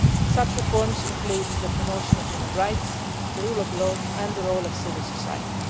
Such reforms include the promotion of human rights, the rule of law and the role of civil society.